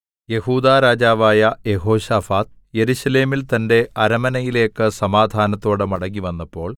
യെഹൂദാ രാജാവായ യെഹോശാഫാത്ത് യെരൂശലേമിൽ തന്റെ അരമനയിലേക്ക് സമാധാനത്തോടെ മടങ്ങിവന്നപ്പോൾ